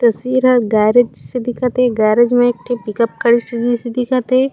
तस्वीर हा एक गैरेज जिसे दिखत हे गैरेज में एक ठ पिकअप गाड़ी जइसे दिखत हे।